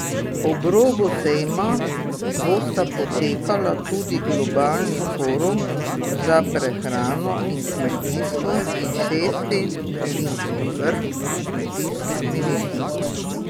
Ob robu sejma bosta potekala tudi Globalni forum za prehrano in kmetijstvo in šesti berlinski vrh kmetijskih ministrov.